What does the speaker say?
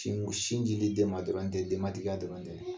Tiŋ sin dili den ma dolan te denmatigiya dɔrɔn tɛ.